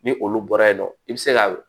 Ni olu bɔra yen nɔ i bi se ka